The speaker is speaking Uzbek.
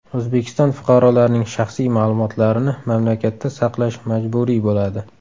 O‘zbekiston fuqarolarining shaxsiy ma’lumotlarini mamlakatda saqlash majburiy bo‘ladi.